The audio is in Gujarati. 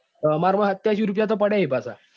એ મારા સત્યાસી રૂપિયા તો પડ્યા ચી પાછા.